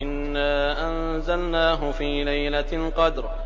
إِنَّا أَنزَلْنَاهُ فِي لَيْلَةِ الْقَدْرِ